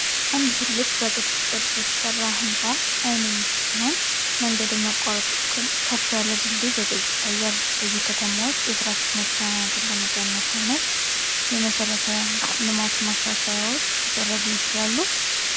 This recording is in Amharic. አንድ ትልቅ በቅስት ቅርጽ የተሰራ ህንፃ ዓይን የሚስብ ሲሆን፣ መንገድ የሚያቋርጥ ከፍ ያለ ድልድይም በግልጽ ይታያል። በዚህ ከተማ ውስጥ የትራፊክ መጨናነቅን ለመቀነስ ምን ዓይነት የመሠረተ ልማት ማሻሻያዎች ሊደረጉ ይችላሉ?